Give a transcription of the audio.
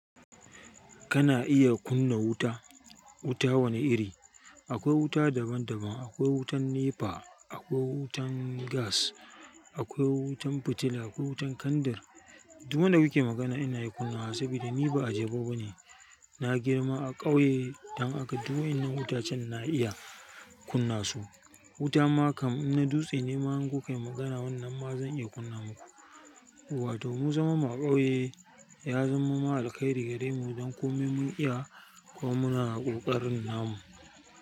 Kana iya kunna wuta, wuta wane iri? Akwai wuta daban daban, akwai wutan NEPA, akwai wutan gas, akwai wutan fitila, akwai wutan kandar. Duk wadda kake magana ina iya kunna wa saboda ni ba ajebo bane. Na girma a ƙauye, dan haka duk waƴannan wutacen na iya kunna su. Wuta ma kam in na dutse ne ma in kukayi magana wannan ma zan iya kunna muku. Wato mu zaman mu a ƙauye, ya zaman mana alkhairi gare mu don komai mun iya kuma muna ƙoƙarin namu.